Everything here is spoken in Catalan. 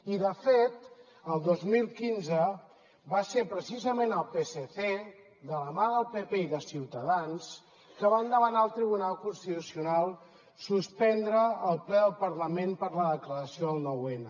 i de fet el dos mil quinze va ser precisament el psc de la mà del pp i de ciutadans els que van demanar al tribunal constitucional suspendre el ple del parlament per la declaració del nou n